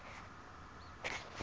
le o nnang mo go